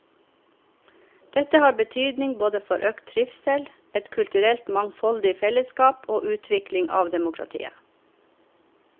Dette har betydning både for økt trivsel, et kulturelt mangfoldig fellesskap og utvikling av demokratiet.